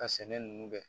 Ka sɛnɛ ninnu kɛ